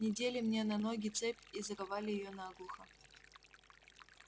недели мне на ноги цепь и заковали её наглухо